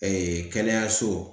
kɛnɛyaso